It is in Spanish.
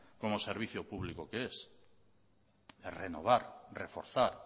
como servicio público que es renovar reforzar